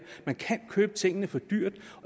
man kan købe tingene for dyrt